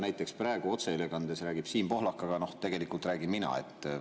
Näiteks praegu otseülekandes räägib Siim Pohlak, aga tegelikult räägin mina.